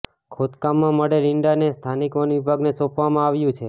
ખોદકામમાં મળેલ ઈંડાને સ્થાનિક વન વિભાગને સોંપવામાં આવ્યું છે